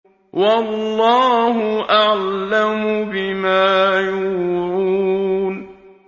وَاللَّهُ أَعْلَمُ بِمَا يُوعُونَ